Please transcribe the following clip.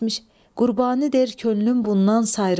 Qurbani deyir könlüm bundan sayrıdır.